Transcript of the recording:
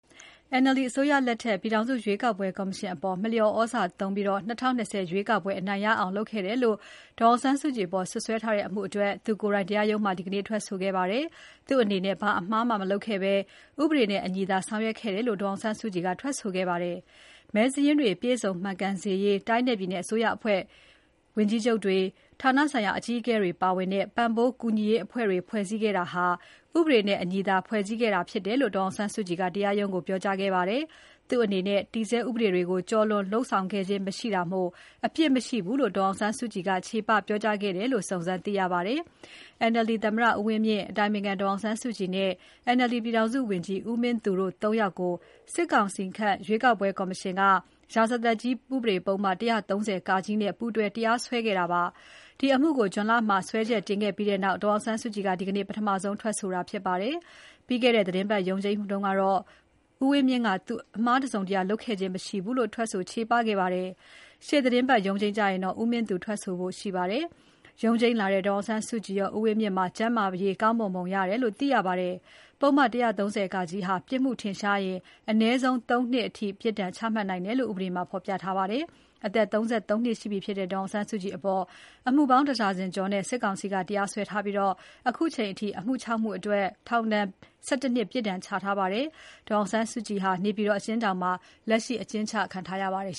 NLD အစိုးရလက်ထက်က ပြည်ထောင်စုရွေးကောက်ပွဲကော်မရှင်အပေါ် မလျော်သြဇာသုံးပြီး ၂၀၂၀ ရွေးကောက်ပွဲ အနိုင်ရအောင်လုပ်ခဲ့တယ်လို့ ဒေါ်အောင်ဆန်းစုကြည်အပေါ် စွပ်စွဲထားတဲ့အမှုအတွက် သူကိုယ်တိုင် တရားရုံးမှာ ဒီနေ့ ထွက်ဆိုခဲ့ပါတယ်။ သူ့အနေနဲ့ ဘာအမှားမှ မလုပ်ခဲ့ဘဲ ဥပဒေနဲ့အညီသာ ဆောင်ရွက်ခဲ့တယ်လု့ိ ဒေါ်အောင်ဆန်းစုကြည်က ထွက်ဆိုခဲ့ပါတယ်။ မဲစာရင်းတွေ ပြည့်စုံမှန်ကန်စေရေး တိုင်းနဲ့ပြည်နယ် အစိုးရအဖွဲ့ဝန်ကြီးချုပ်တွေ၊ ဌာနဆိုင်ရာ အကြီးအကဲတွေပါဝင်တဲ့ ပံ့ပိုးကူညီရေးအဖွဲ့တွေ ဖွဲ့စည်းခဲ့တာဟာ ဥပဒေနဲ့အညီသာ ဖွဲ့စည်းခဲ့တာဖြစ်တယ်လို့ ဒေါ်အောင်ဆန်းစုကြည်က တရားရုံးကို ပြောကြားခဲ့ပါတယ်။ သူ့အနေနဲ့ တည်ဆဲဥပဒေတွေကို ကျော်လွန်လုပ်ဆောင် ခဲ့ခြင်းမရှိတာမို့ သူ့မှာအပြစ်မရှိဘူးလို့ ဒေါ်အောင်ဆန်းစုကြည်က ချေပပြောကြားခဲ့တယ်လို့ စုံစမ်းသိရပါတယ်။ NLD သမ္မတ ဦးဝင်းမြင့်၊ အတိုင်ပင်ခံ ဒေါ်အောင်ဆန်းစုကြည်နဲ့ NLD ပြည်ထောင် စုဝန်ကြီး ဦးမင်းသူတို့ ၃ ယောက်ကို စစ်ကောင်စီခန့် ရွေးကောက်ပွဲကော်မရှင်က ရာဇသတ်ကြီးဥပဒေပုဒ်မ ၁၃၀ (က) နဲ့ ပူးတွဲတရားစွဲခဲ့တာပါ။ ဒီအမှုကို June လမှာ စွဲချက်တင်ခဲ့ပြီးနောက် ဒေါ်အောင်ဆန်းစုကြည်က ဒီနေ့ ပထမဆုံးထွက်ဆိုတာဖြစ်ပါတယ်။ ပြီးခဲ့တဲ့သီတင်းပတ် ရုံးချိန်းမှာလည်း ဦးဝင်းမြင့်က သူအမှားတစုံ တရာလုပ်ခြင်းမရှိဘူးလို့ ထွက်ဆိုခဲ့ပါတယ်။ ရှေ့သီတင်းပတ်ရုံးချိန်းကျရင်တော့ ဦးမင်းသူ ထွက်ဆိုဖို့ရှိပါတယ်။ ရုံးချိန်လာတဲ့ ဒေါ်အောင်ဆန်းစုကြည်ရော ဦးဝင်းမြင့်ပါ ကျန်းမာရေးကောင်းမွန်ပုံရတယ်လို့ သိရပါတယ်။ ပုဒ်မ ၁၃၀(က) ဟာ ပြစ်မှုထင်ရှားရင် အနည်းဆုံး ၃ နှစ်ထိ ချမှတ်နိုင်တယ်လို့ ဥပဒေမှာ ဖော်ပြထားပါတယ်။ အသက် ၇၇ နှစ် ရှိပြီဖြစ်တဲ့ ဒေါ်အောင်ဆန်းစုကြည်အပေါ် အမှုပေါင်း ၁ ဒါဇင်ကျော်နဲ့ စစ်ကောင်စီက တရားစွဲထားပြီး အခုအချိန်အထိ အမှု ၆ မှု အတွက် ထောင် ဒဏ် ၁၁ နှစ် ပြစ်ဒဏ် ချထားပါတယ်။ ဒေါ်အောင်ဆန်းစုကြည်ဟာ နေပြည်တော် အကျဉ်းထောင်မှာ လက်ရှိ အကျဉ်းချခံထားရပါတယ်